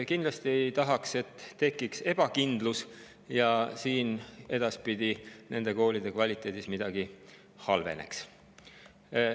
Kindlasti ei tahaks seda, et tekiks ebakindlus ja nende koolide kvaliteet edaspidi halveneks.